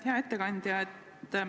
Hea ettekandja!